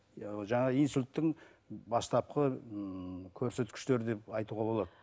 иә ол жаңағы инсульттің бастапқы ыыы көрсеткіштері деп айтуға болады